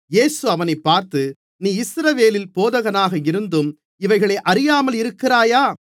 இயேசு அவனைப் பார்த்து நீ இஸ்ரவேலில் போதகனாக இருந்தும் இவைகளை அறியாமல் இருக்கிறாயா